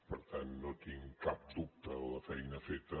per tant no tinc cap dubte de la feina feta